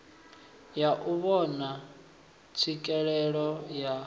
ya u vhona tswikelelo ya